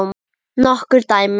Nokkur dæmi